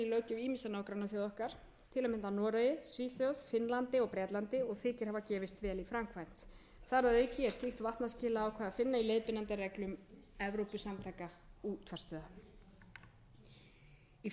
nágrannaþjóða okkar til að mynda í noregi svíþjóð finnlandi og bretlandi og þykir hafa gefist vel í framkvæmd þar að auki er slíkt vatnaskilaákvæði að finna í leiðbeinandi reglum evrópusamtaka útvarpsstöðva í frumvarpinu er mælt fyrir um reglur um rétt þeirra sem